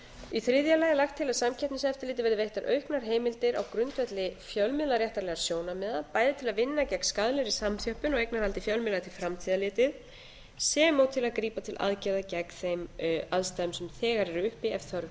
í árið lagi er lagt til að samkeppniseftirliti verði veittar auknar heimildir á grundvelli fjölmiðlaréttarlegra sjónarmiða bæði til að vinna gegn skaðlegri samþjöppun á eignarhaldi fjölmiðla til framtíðar litið sem og til að grípa til aðgerða gegn þeim aðstæðum sem þegar eru uppi ef þörf